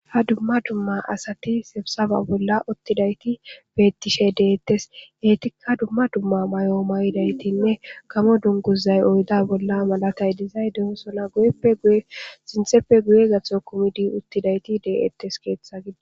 Ha dumma dumma asati sebsafa bolla uttidayti bettishe deettes heetikka dumma dumma may7o mayidaytinne kamo dunguzay oyda bolla malatay dizay deho sona guyeppesintheppe guye gatho kumidi uttidayti deettes keeththa gidi.